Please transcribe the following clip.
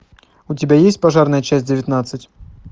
у тебя есть пожарная часть девятнадцать